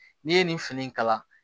N'i ye nin fini in kala